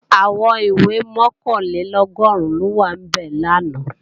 Àwọn ìwé mọ̀kànlélọ́gọ́rùn ló wà níbẹ̀ làná